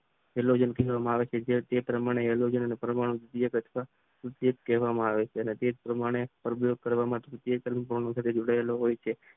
જે પ્રમાણે એલોવેરાન પરમાણુ ઉદ્યોગ કહેવામાં આવે છે